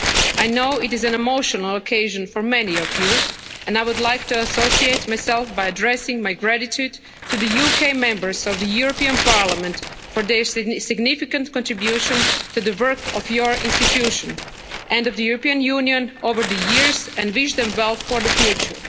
I know it is an emotional occasion for many of you and I would like to associate myself by addressing my gratitude to the UK Members of the European Parliament for their significant contribution to the work of your institution and of the European Union over the years and wish them well for the future.